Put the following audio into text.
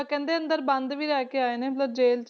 ਕਹਿੰਦੇ ਅੰਦਰ ਬੰਦ ਵੀ ਰਹਿ ਕੇ ਆਏ ਨੇ ਮਤਲਬ ਜ਼ੇਲ੍ਹ